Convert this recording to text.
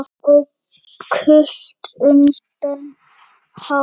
og gult undir hár.